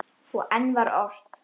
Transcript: Og enn var ort.